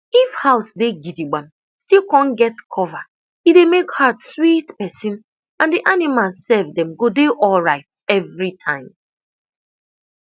if house dey gidigbam still con get cover e dey make heart sweet person and the animals sef dem go dey alright every time